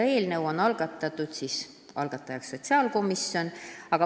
Eelnõu on algatanud sotsiaalkomisjon.